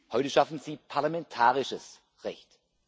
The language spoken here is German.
Heute schaffen Sie parlamentarisches Recht.